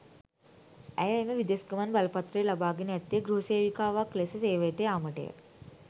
ඇය එම විදෙස් ගමන් බලපත්‍රය ලබාගෙන ඇත්තේ ගෘහ සේවිකාවක් ලෙස සේවයට යාමටය.